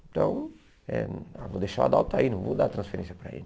Então, eh vou deixar o Adalto aí, não vou dar transferência para ele.